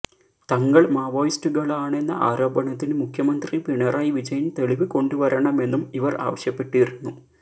തങ്ങൾ മാവോയിസ്റ്റുകളാണെന്ന ആരോപണത്തിന് മുഖ്യമന്ത്രി പിണറായി വിജയൻ തെളിവ് കൊണ്ടുവരണമെന്നും ഇവർ ആവശ്യപ്പെട്ടിരുന്നു